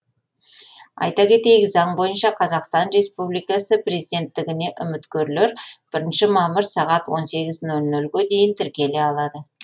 айта кетейік заң бойынша қазақстан республикасының президенттігіне үміткерлер бірінші мамыр сағат он сегіз нөл нөлге дейін тіркеле алады